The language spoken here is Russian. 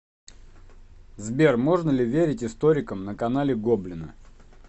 сбер можно ли верить историкам на канале гоблина